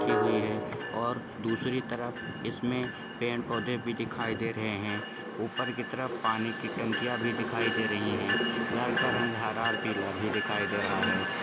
ये हुए है और दूसरी तरफ इसमें पेड़ पोधे भी दिखाई दे रहे हैं ऊपर की तरफ पानी की टंकियां भी दिखाई दे रही है घर का रंग हरा और पीला भी दिखाई दे रहा है।